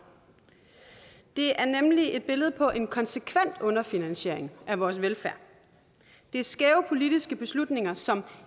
det er nemlig et billede på en konsekvent underfinansiering af vores velfærd det er skæve politiske beslutninger som